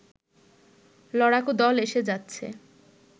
লড়াকু দল এসে যাচ্ছে